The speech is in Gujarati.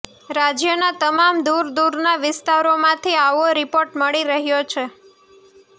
રાજયના તમામ દુર દુરના વિસ્તારોમાંથી આવો રિપોર્ટ મળી રહ્યો છે